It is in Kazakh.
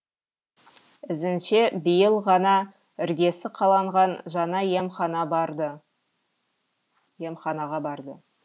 ізінше биыл ғана іргесі қаланған жаңа емханаға барды